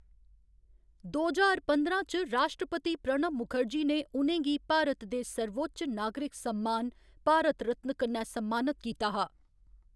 दो ज्हार पंदरां च राश्ट्रपति प्रणब मुखर्जी ने उ'नें गी भारत दे सर्वोच्च नागरिक सम्मान भारत रत्न कन्नै सम्मानत कीता हा।